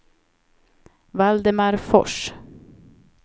Valdemar Fors